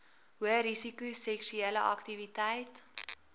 hoërisiko seksuele aktiwiteit